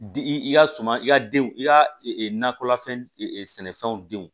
I ka suman i ka denw i ka nakɔlafɛn sɛnɛfɛnw denw